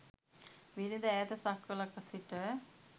බිරිඳ ඈත සක්වලක සිට